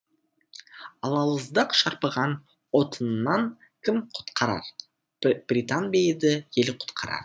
алауыздық шарпыған отынынан кім құтқарар британ бе еді ел құтқарар